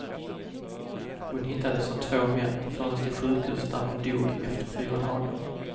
Hon hittades av två män, fördes till sjukhus där hon hon dog efter fyra dagar.